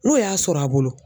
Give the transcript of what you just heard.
N'o y'a sɔrɔ a bolo.